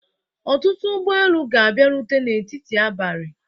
Ọtụtụ ụgbọ elu ga-abịarute n'etiti abalị